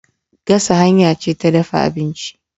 Gasa hanya ce ta dafa abinci.